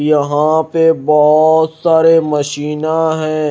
यहां पे बहुत सारे मशीना है।